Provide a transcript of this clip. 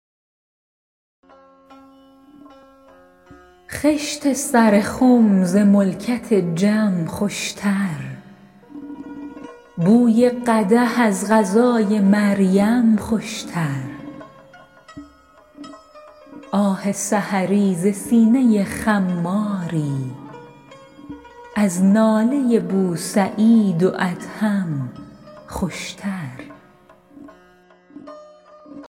خشت سر خم ز ملکت جم خوشتر بوی قدح از غذای مریم خوشتر آه سحری ز سینه خماری از ناله بوسعید و ادهم خوشتر